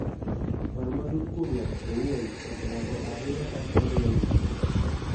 Paro matut kuom ng�ato owuon oseloko ahinya kaka aneno gik moko